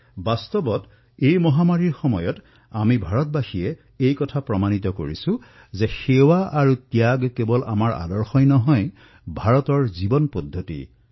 বাস্তৱিকতে এই মহামাৰীৰ সময়ত আমি ভাৰতবাসীয়ে এয়া দেখুৱাই দিছো যে সেৱা আৰু ত্যাগৰ আমাৰ চিন্তাধাৰা এয়া কেৱল আমাৰ আদৰ্শই নহয় বৰঞ্চ ভাৰতৰ জীৱন পদ্ধতিও হয়